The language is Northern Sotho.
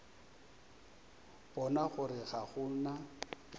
bona gore ga go na